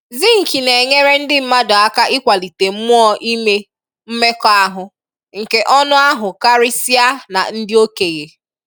Zinc na-enyerè ndị̀ mmadụ̀ akà ị̀kwalitè mmụọ̀ ị̀mè mmekọahụ̀ nkè ọnụ̀ ahụ̀ karị́sịà nà ndị̀ òkènyè.